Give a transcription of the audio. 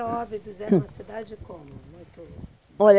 E Óbidos, era uma cidade como, muito? Olha